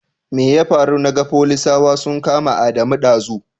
Mai ya faru naga folisawa sun kama Adamu ɗazu?